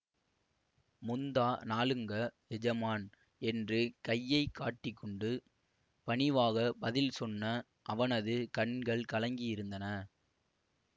முந்தா நாளுங்க எஜமான் என்று கையை காட்டிக் கொண்டு பணிவாகப் பதில் சொன்ன அவனது கண்கள் கலங்கி இருந்தன